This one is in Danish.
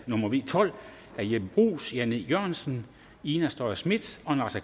nummer v tolv af jeppe bruus jan e jørgensen ina strøjer schmidt og naser